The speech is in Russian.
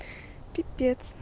пипец